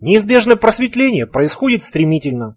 неизбежное просветление происходит стримительно